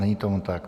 Není tomu tak.